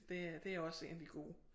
Det er det også en af de gode